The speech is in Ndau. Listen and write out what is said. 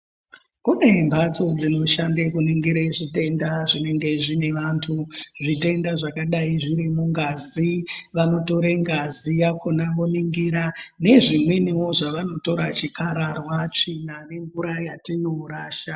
Kune mhatso dzinoshande kuningira zvitenda zvinenge zvine vantu. Zvitenda zvakadai zviri mungazi vanotore ngazi yakona voningira nezvimwenivo zvavanotora chikararwa, tsvina nemvura yatinorasha.